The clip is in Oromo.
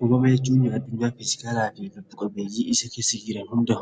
Uumama jechuun addunyaa fiizikaalaa fi lubbu qabeeyyi isa keessa jiran hunda,